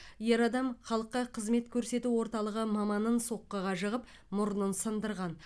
ер адам халыққа қызмет көрсету орталығы маманын соққыға жығып мұрнын сындырған